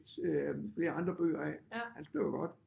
Øh flere andre bøger af han skriver godt